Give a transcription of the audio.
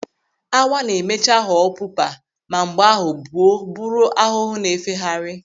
Awa na-emecha ghọọ pupa ma mgbe ahụ buo bụrụ ahụhụ na-efegharị.